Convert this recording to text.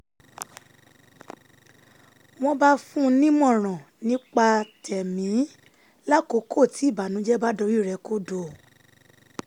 wọ́n bá fún un nímọ̀ràn nípa tẹ̀mí lákòókò tí ìbànújẹ́ bá dorí rẹ̀ kodò